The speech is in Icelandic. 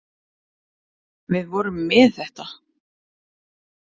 Við vorum með þetta.